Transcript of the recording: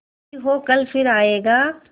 जो भी हो कल फिर आएगा